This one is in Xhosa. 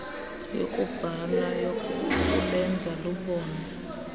yokubhala yokulenza lubonwe